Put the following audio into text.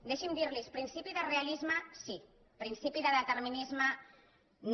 deixi’m dir los principi de realisme sí principi de determinisme no